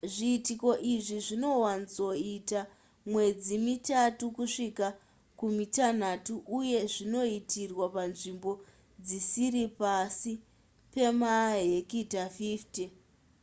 zviitiko izvi zvinowanzoita mwedzi mitatu kusvika kumitanhatu uye zvinoitirwa panzvimbo dzisiri pasi pemahekita 50